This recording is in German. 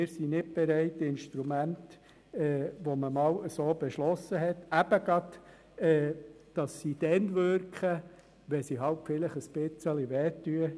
Wir sind nicht bereit Instrumente, die einmal so beschlossen wurden, ausgerechnet dann zu umgehen, wenn sie wirken, wenn sie eben ein wenig wehtun.